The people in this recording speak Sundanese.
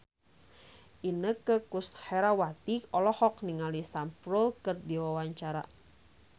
Inneke Koesherawati olohok ningali Sam Spruell keur diwawancara